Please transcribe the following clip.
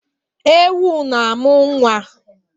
Ewu na-amụ nwa.